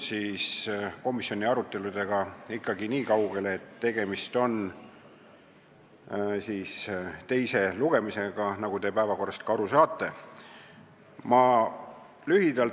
Komisjoni aruteludega oleme jõudnud nii kaugele, et tegemist on teise lugemisega, nagu te päevakorrast ka nägite.